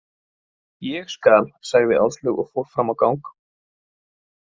Ég skal, sagði Áslaug og fór fram á gang.